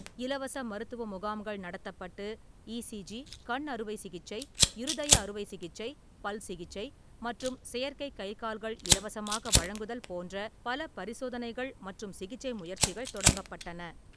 இலவச மருத்துவ முகாம்கள் நடத்தப்பட்டு, இசிஜி, கண் அறுவை சிகிச்சை, இருதய அறுவை சிகிச்சை, பல் சிகிச்சை மற்றும் செயற்கை கைகால்கள் இலவசமாக வழங்குதல் போன்ற பல பரிசோதனைகள் மற்றும் சிகிச்சை முயற்சிகள் தொடங்கப்பட்டன.